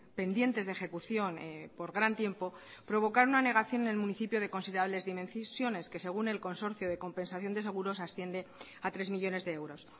pendientes de ejecución por gran tiempo provocaron una anegación en el municipio de considerables dimensiones que según el consorcio de compensación de seguros asciende a tres millónes de euros